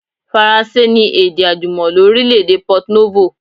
Faransé ni èdè àjùmọ̀lo orílẹ̀ èdè Port Novo